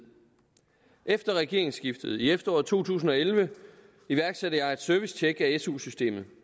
efter regeringsskiftet i efteråret to tusind og elleve iværksatte jeg et servicetjek af su systemet